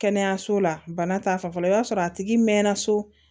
Kɛnɛyaso la bana ta fanfɛ i b'a sɔrɔ a tigi mɛnna so